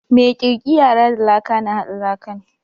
Mai kirkiara da lka na haɗa lakan.